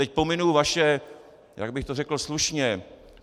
Teď pominu vaše - jak bych to řekl slušně?